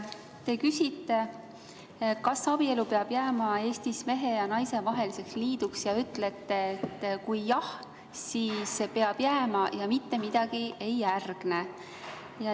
Te küsite, kas abielu peab jääma Eestis mehe ja naise vaheliseks liiduks, ja ütlete, et jah, siis peab jääma ja mitte midagi ei järgne.